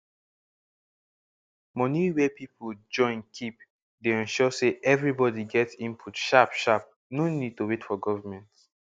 moni wey peole join keep dey ensure say everibodi get input sharp sharp no need to wait for government